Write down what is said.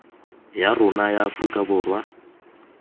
ya rona ya aforika borwa